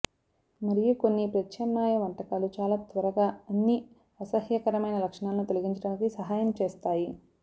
మరియు కొన్ని ప్రత్యామ్నాయ వంటకాలు చాలా త్వరగా అన్ని అసహ్యకరమైన లక్షణాలను తొలగించడానికి సహాయం చేస్తాయి